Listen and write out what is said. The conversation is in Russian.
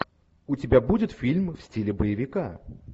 у тебя будет фильм в стиле боевика